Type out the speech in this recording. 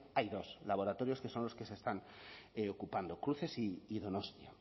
hay dos laboratorios que son los que se están ocupando cruces y donostia